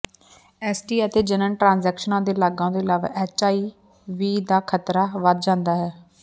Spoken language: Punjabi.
ਐਸਟੀਆਈ ਅਤੇ ਜਣਨ ਟ੍ਰਾਂਸੈਕਸ਼ਨਾਂ ਦੇ ਲਾਗਾਂ ਤੋਂ ਇਲਾਵਾ ਐੱਚਆਈਵੀ ਦਾ ਖ਼ਤਰਾ ਵਧ ਜਾਂਦਾ ਹੈ